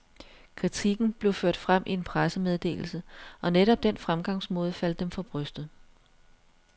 Kritikken blev ført frem i en pressemeddelse, og netop den fremgangsmåde faldt dem for brystet.